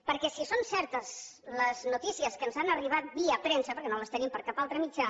perquè si són certes les notícies que ens han arribat via premsa perquè no les tenim per cap altre mitjà